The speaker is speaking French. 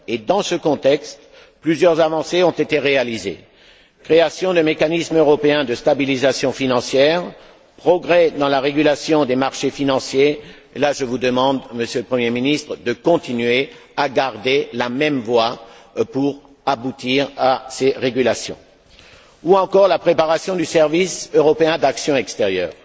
Dans ce contexte, plusieurs avancées ont été réalisées création de mécanismes européens de stabilisation financière, progrès dans la régulation des marchés financiers là, je vous demande, Monsieur le Premier ministre, de continuer dans la même voie pour aboutir à ces régulations ou encore préparation du service européen pour l'action extérieure.